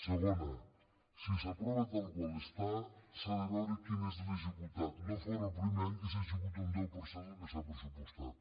segona si s’aprova tal qual està s’ha de veure quin és l’executat no fora el primer any que s’executa un deu per cent del que s’ha pressupostat